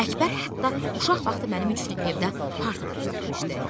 Əkbər hətta uşaq vaxtı mənim üçün evdə parta da düzəltmişdi.